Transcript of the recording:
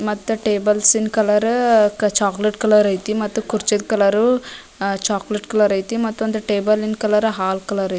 ಮತ್ತ ಟೇಬಲ್ಸ್ ನ colour chocolate colour ಐತಿ ಮಟ್ಟ ಕುರ್ಚಿ ಕಲರ್ ಚಾಕಲೇಟ್ ಕಲರ್ ಐತಿ ಮತ್ತೊಂದು ಟೇಬಲ್ ನ ಕಲರ್ ಹಾಲ್ ಕಲರ್ ಐತಿ.